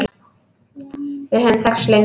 Við höfum þekkst lengi